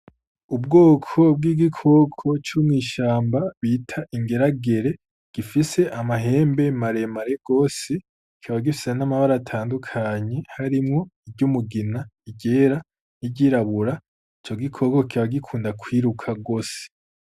Ubwoko bw'igikoko c'umw'ishamba bita ingeragere gifise amahembe marem are gose kibagifise n'amabare atandukanye harimwo iryo umugina igera n'iryirabura ico gikoko kiba gikunda kwiruka rwose.